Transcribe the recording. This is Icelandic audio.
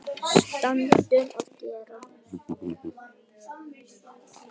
Stundum segir Andrea.